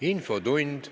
Infotund.